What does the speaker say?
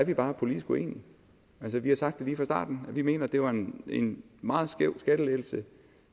bare er politisk uenige altså vi har sagt lige fra starten at vi mener det var en en meget skæv skattelettelse